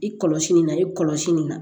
I kɔlɔsi nin na i kɔlɔsi nin na